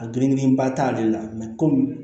A geren ba t'ale la komi